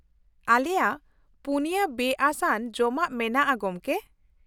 ᱟᱞᱮᱭᱟᱜ ᱯᱩᱱᱭᱟᱹ ᱵᱮᱼᱟᱹᱥ ᱟᱱ ᱡᱚᱢᱟᱜ ᱢᱮᱱᱟᱜᱼᱟ ᱜᱚᱝᱠᱮ ᱾